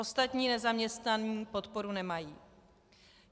Ostatní nezaměstnaní podporu nemají.